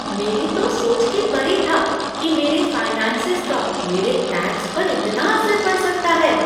मेरी तो सोच के परे था कि मेरे फाइनेंसिस का मेरे टैक्स पर इतना असर पड़ सकता है।